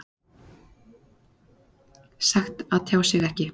Sagt að tjá sig ekki